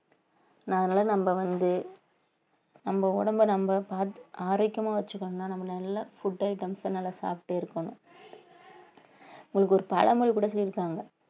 நா அதனால நம்ம வந்து நம்ம உடம்பை நம்ம பார்த்து ஆரோக்கியமா வச்சுக்கணும்ன்னா நம்மளை நல்லா food items அ நல்லா சாப்பிட்டு இருக்கணும் உங்களுக்கு ஒரு பழமொழி கூட சொல்லிருக்காங்க